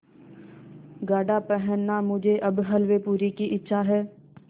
गाढ़ा पहनना मुझे अब हल्वेपूरी की इच्छा है